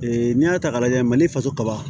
n'i y'a ta k'a lajɛ mali faso kaba